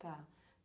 Tá.